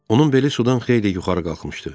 Onun beli sudan xeyli yuxarı qalxmışdı.